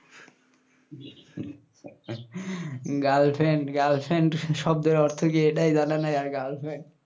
girlfriend girlfriend শব্দের অর্থ কি এটাই জানা নাই আর girlfriend